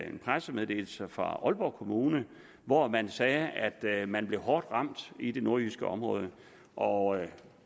en pressemeddelelse fra aalborg kommune hvor man sagde at man blev hårdt ramt i det nordjyske område og